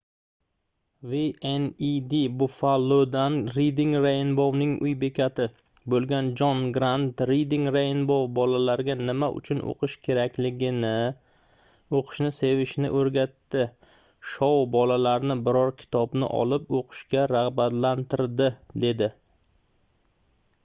wned buffalo'dan reading rainbow'ning uy bekati bo'lgan jon grant reading rainbow bolalarga nima uchun o'qish kerakligini, o'qishni sevishni o'rgatdi — [shou] bolalarni biror kitobni olib o'qishga rag'batlantirdi dedi